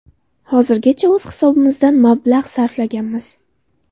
Hozirgacha o‘z hisobimizdan mablag‘ sarflaganmiz.